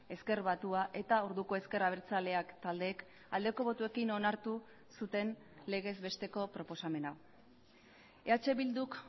ezker batua eta orduko ezker abertzaleak taldeek aldeko botoekin onartu zuten legez besteko proposamen hau eh bilduk